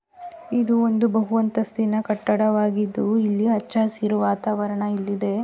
ಇದು ಒಂದು ಬಹು ಅಂತಸ್ತಿನ ಕಟ್ಟಡವಾಗಿದ್ದು ಇಲ್ಲಿ ಹಚ್ಚ ಹಸಿರು ವಾತಾವರಣ ಇಲ್ಲಿದೆ.